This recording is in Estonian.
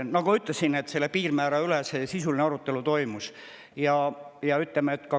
Nagu ma ütlesin, selle piirmäära üle sisuline arutelu toimus.